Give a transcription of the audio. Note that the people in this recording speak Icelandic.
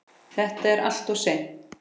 Þetta er alltof snemmt.